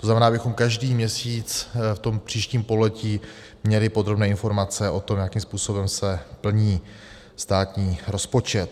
- To znamená, abychom každý měsíc v tom příštím pololetí měli podrobné informace o tom, jakým způsobem se plní státní rozpočet.